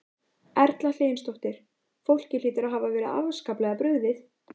Erla Hlynsdóttir: Fólki hlýtur að hafa verið afskaplega brugðið?